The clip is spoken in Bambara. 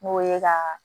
N'o ye ka